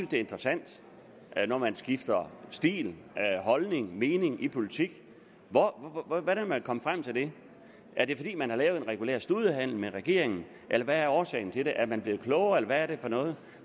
det er interessant når man skifter stil holdning mening i politik hvordan man er kommet frem til det er det fordi man har lavet en regulær studehandel med regeringen eller hvad er årsagen til det er man blevet klogere eller hvad er det for noget